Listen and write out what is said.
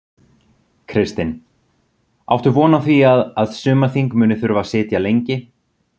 Kristinn: Áttu von á því að, að sumarþing muni þurfa að sitja lengi?